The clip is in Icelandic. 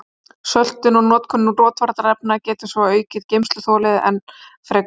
Söltun og notkun rotvarnarefna getur svo aukið geymsluþolið enn frekar.